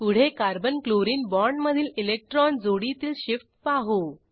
पुढे carbon chlorine बाँडमधील electron जोडीतील शिफ्ट पाहू